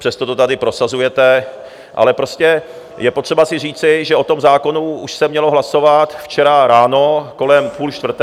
Přesto to tady prosazujete, ale prostě je potřeba si říci, že o tom zákonu už se mělo hlasovat včera ráno kolem půl čtvrté...